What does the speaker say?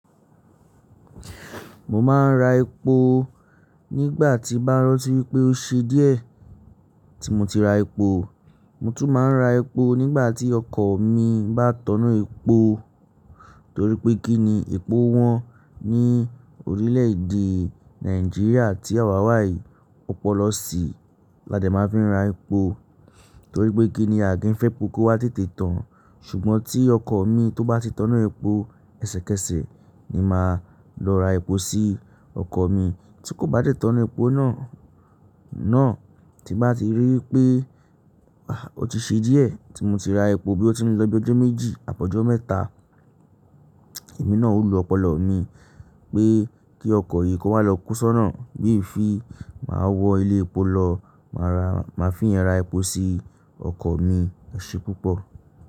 Mo máa ń ra epo nígbà tí bá rántí pé ó ṣe díẹ̀ tí mo ti ra epo. Mo tún máa ń ra epo nígbà tí ọkọ̀ mi bá tọna epo, torí pé kí ni epo wọ́n ní orílẹ̀-èdè Nàìjíríà tí àwa wàyí ọpọlọ sí. Ládè máa fi ra epo, torí pé kí ni àkín fẹ́ epo kó wá tètè tán. Ṣùgbọ́n tí ọkọ̀ mi tó bá ti tọnú epo, ẹsẹkẹsẹ ni màá lọ ra epo sí ọkọ̀ mi. Tí kò bá de tọna epo náà, tí bá ti rí i pé ah o ti ṣe díẹ̀ tí mo ti ra epo bí ó ti ń lọ bí ọjọ́ méjì, àbí ọjọ́ mẹ́ta, èmi náà ó lọ ọpọlọ mi pé kí ọkọ̀ yìí kó máa lọ kú sọ́nà. Bí ìfi máa wọ ilé epo lọ, màá fi iye ra epo sí ọkọ̀ mi ẹṣe púpọ̀.